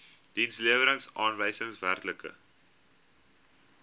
dienslewerings aanwysers werklike